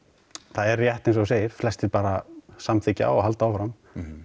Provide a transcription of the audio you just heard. það er rétt eins og þú segir flestir bara samþykkja og halda áfram